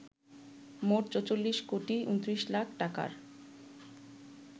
মোট ৪৪ কোটি ২৯ লাখ টাকার